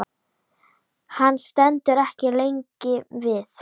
Hann stendur ekki lengi við.